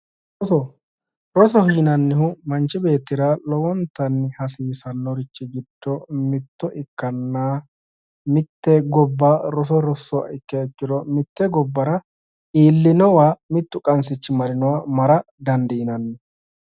Roso, rosoho yinnannihu manchi beettira lowontanni hasiisanorichi giddo mitto ikkanna mite gobba roso rosuha ikkiha ikkiro mite gobbara iillinowa mittu qansichi marra dandiinanni.